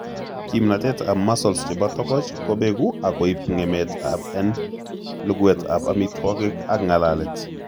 Kimnotet ab muscles chebo togoch kobegu akoib ng'emet en luguet ab amitwogik ak ng'alalet